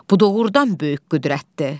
Bu doğurdan böyük qüdrətdir.